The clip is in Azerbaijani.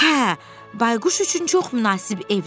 Hə, Bayquş üçün çox münasib evdir, o dedi.